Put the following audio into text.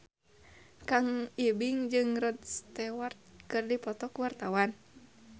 Kang Ibing jeung Rod Stewart keur dipoto ku wartawan